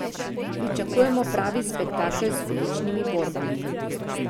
Pričakujemo pravi spektakel z odličnimi borbami.